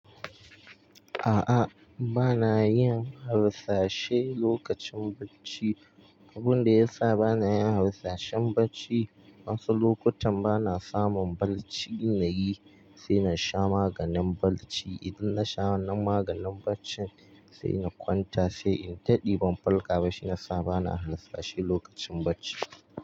A'a, ba na yin harsashe lokacin bacci. Abin da ya sa ba na yin harsashe bacci wasu lokutan ba na samun bacci ɗin yi, sai na sha maganin bacci. Idan na sha wannan maganin bacci sai na kwanta, sai in daɗe ban farka ba. Shi ya sa ba na harsashe lokacin bacci.